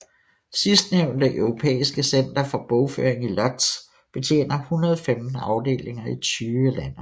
Sidstnævntes europæiske center for bogføring i Łódź betjener 115 afdelinger i 20 lande